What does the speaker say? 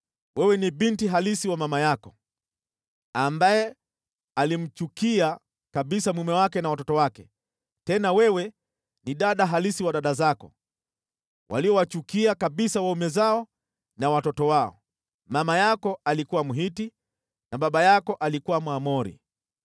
Wewe ni binti halisi wa mama yako, ambaye alimchukia kabisa mume wake na watoto wake, tena wewe ni dada halisi wa dada zako, waliowachukia kabisa waume zao na watoto wao. Mama yako alikuwa Mhiti na baba yako alikuwa Mwamori.